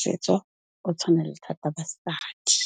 setso o tshwanele thata basadi.